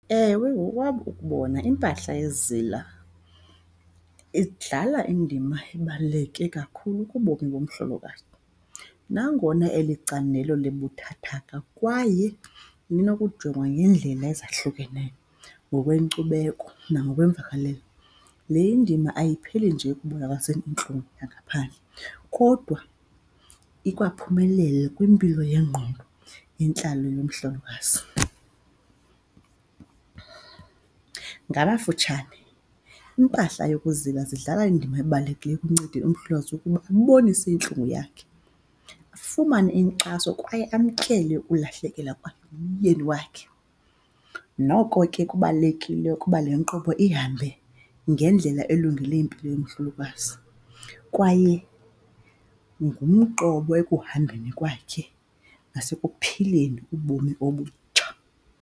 Ewe, ngokwam ukubona iimpahla yezila idlala indima ebaluleke kakhulu kubomi bomhlolokazi, nangona eli candelo libuthathaka kwaye linokujongwa ngeendlela ezahlukeneyo ngokwenkcubeko nangokwemvakalelo, le indima ayipheli nje ekubonakaliseni intlungu yangaphandle kodwa ikhwaphumelele kwimpilo yengqondo yentlalo yomhlokazi. Ngamafutshane iimpahla yokuzila zidlala indima ebalulekileyo ekuncedeni umhlokazi ukuba abonise iintlungu yakhe afumane inkxaso kwaye amkele ulahlekelwa kwakhe ngumyeni wakhe. Noko ke kubalulekile ukuba le nkqubo ihambe ngendlela elungele impilo yomhlokazi, kwaye ngumqobo ekuhambeni kwakhe nasekuphileni ubomi obutsha.